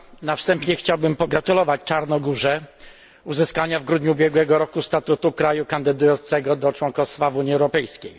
Na wstępie chciałbym pogratulować Czarnogórze uzyskania w grudniu ubiegłego roku statusu kraju kandydującego do członkostwa w Unii Europejskiej.